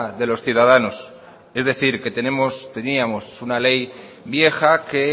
de los ciudadanos es decir que teníamos una ley vieja que